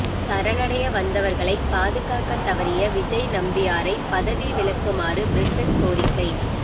சரணடைய வந்தவர்களை பாதுகாக்கத் தவறிய விஜய் நம்பியாரை பதவி விலக்குமாறு பிரிட்டன் கோரிக்கை